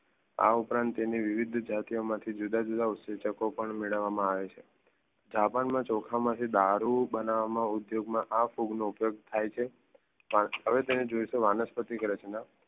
આ ઉપરાંત તેને વિવિધ જાતિઓ માંથી જુદા જુદા ઉદધીચકો મેળવવામાં આવે છે. જાપાનમાં ચોખામાંથી દારૂ બનાવવામાં ઉપયોગમાં આ ફૂગ નો ઉપયોગ થાય છે. હવે તેને જોઈ તો વાનસ્પતિક રચના